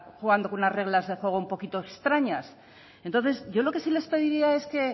jugando con unas reglas de juego un poquito extrañas yo lo que sí les pediría es que